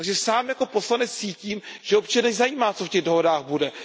Takže sám jako poslanec cítím, že občany zajímá, co v těch dohodách bude.